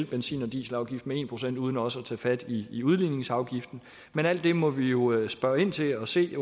benzin og dieselafgiften med en procent uden også at tage fat i i udligningsafgiften men alt det må vi jo spørge ind til og se